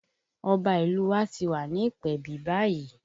Ọba ìlú u wa ti wà ní ìpèbí báyìí